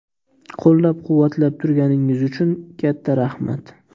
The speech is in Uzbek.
Qo‘llab-quvvatlab turganingiz uchun katta rahmat!